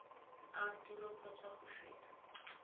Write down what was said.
a tiro kgotsa go feta